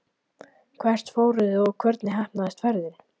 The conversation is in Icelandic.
Hvert fóruð þið og hvernig heppnaðist ferðin?